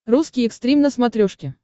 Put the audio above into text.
русский экстрим на смотрешке